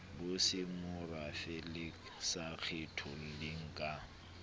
bosemorafe le sa kgetholleng ka